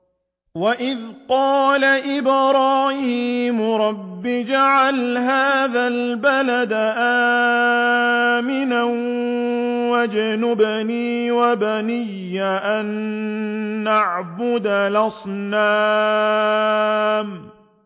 وَإِذْ قَالَ إِبْرَاهِيمُ رَبِّ اجْعَلْ هَٰذَا الْبَلَدَ آمِنًا وَاجْنُبْنِي وَبَنِيَّ أَن نَّعْبُدَ الْأَصْنَامَ